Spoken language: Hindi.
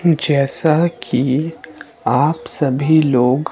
जैसा कि आप सभी लोग--